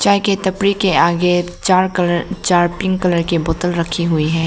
चाय के तपरी के आगे चार कलर चार पिंक कलर की बोतल रखी हुई हैं।